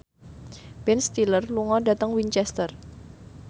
Ben Stiller lunga dhateng Winchester